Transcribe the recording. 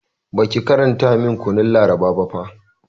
Baki karanta min kanun labaran ba fa